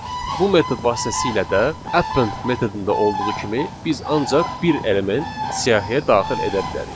Bu metod vasitəsilə də append metodunda olduğu kimi biz ancaq bir element siyahıya daxil edə bilərik.